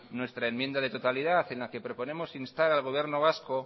nuestra enmienda de totalidad en la que proponemos a instar al gobierno vasco